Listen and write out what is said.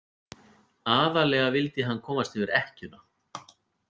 Aðallega vildi hann komast yfir ekkjuna.